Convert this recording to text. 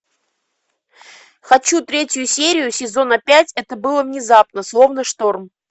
хочу третью серию сезона пять это было внезапно словно шторм